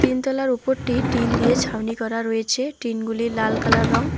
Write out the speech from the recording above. তিন তলার উপরটি টিন দিয়ে ছাউনি করা রয়েছে টিনগুলির লাল কালার রং।